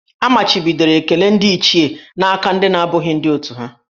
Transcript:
A machibidoro ekele ndị Ichie n'aka ndị na-abụghị ndị òtù ha